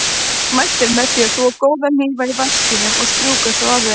Mælt er með því að þvo góða hnífa í vaskinum og strjúka svo af þeim.